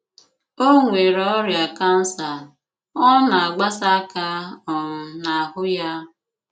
O nwere ọrìà kansà, ọ na-àgbàsàkà um n'ahụ́ ya